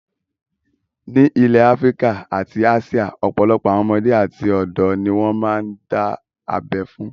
Ní ilẹ̀ Áfíríkà àti Áṣíà, ọ̀pọ̀ àwọn ọmọdé àti ọ̀dọ̀ ni wọ́n máa ń dá abẹ fún.